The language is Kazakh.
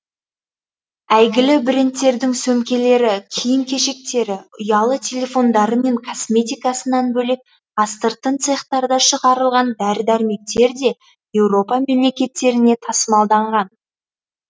әйгілі брендтердің сөмкелері киім кешектері ұялы телефондары мен косметикасынан бөлек астыртын цехтарда шығарылған дәрі дәрмектер де еуропа мемлекеттеріне тасымалданған